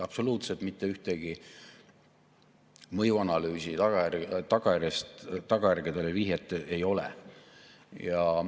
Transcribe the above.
Absoluutselt mitte ühtegi mõjuanalüüsi, vihjet tagajärgedele ei ole.